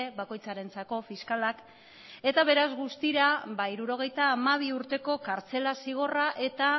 bakoitzarentzako fiskalak eta beraz guztira hirurogeita hamabi urteko kartzela zigorra eta